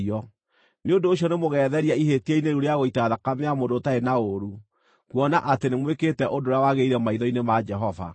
Nĩ ũndũ ũcio nĩmũgetheria ihĩtia-inĩ rĩu rĩa gũita thakame ya mũndũ ũtarĩ na ũũru, kuona atĩ nĩmwĩkĩte ũndũ ũrĩa wagĩrĩire maitho-inĩ ma Jehova.